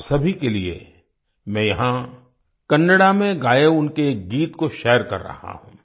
आप सभी के लिए मैं यहाँ कन्नड़ा में गाए उनके एक गीत को शेयर कर रहा हूँ